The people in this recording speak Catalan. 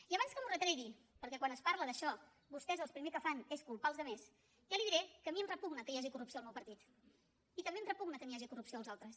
i abans que m’ho retregui perquè quan es parla d’això vostès el primer que fan és culpar els altres ja li diré que a mi em repugna que hi hagi corrupció al meu partit i també em repugna que hi hagi corrupció als altres